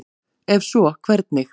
Ef svo, hvernig?